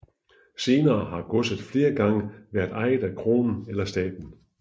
Senere har godset flere gange været ejet af kronen eller staten